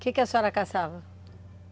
Que que a senhora caçava?